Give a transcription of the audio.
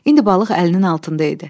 İndi balıq əlinin altında idi.